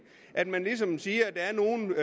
at man ligesom siger at der er nogle